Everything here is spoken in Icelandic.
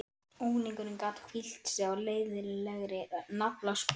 Unglingurinn gat hvílt sig á leiðinlegri naflaskoðun.